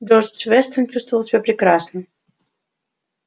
джордж вестон чувствовал себя прекрасно